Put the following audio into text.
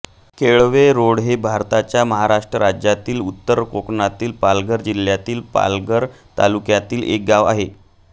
Kelve Road हे भारताच्या महाराष्ट्र राज्यातील उत्तर कोकणातील पालघर जिल्ह्यातील पालघर तालुक्यातील एक गाव आहे